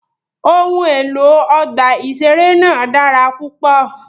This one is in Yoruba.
Ohun elo ọgba iṣere naa dara pupọ.